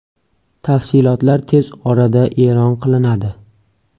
Tafsilotlar tez orada e’lon qilinadi.